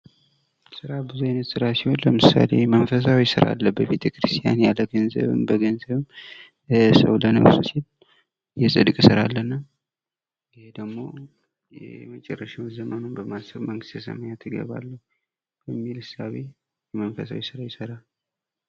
ስራ ብዙ አይነት ስራ ሲሆን ለምሳሌ የመንፈሳዊ ስራ አለ በቤተክርስቲያን ያለ ገንዘብ በገንዘብም ሰው ለነፍሱ ሲል የጽድቅ ስራ አለና ይህ ደግሞ የመጨረሻውን ዘመኑን በማሰብ መንግስተ ሰማያት እገባለሁ በሚል እሳቤ መንፈሳዊ ስራ ይሰራል።